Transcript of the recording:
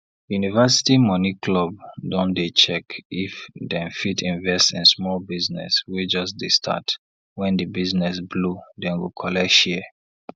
university money club don dey check if dem fit invest in small business wey just dey start wen di business blow dem go collect share